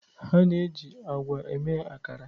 A na-eji agwa eme akara